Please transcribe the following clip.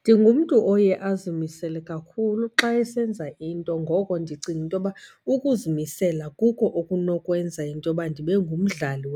Ndingumntu oye azimisele kakhulu xa esenza into, ngoko ndicinga into yoba ukuzimisela kukho okunokwenza into yoba ndibe ngumdlali